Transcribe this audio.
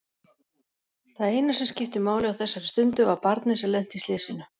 Það eina sem skipti máli á þessari stundu var barnið sem lenti í slysinu.